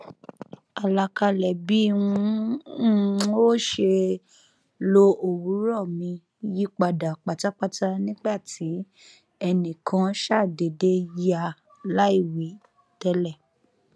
alakalẹ bí n um óò ṣe lo òwúrọ um mi yipada patapata nigba ti ẹnikan ṣadeede ya laiwi tẹlẹ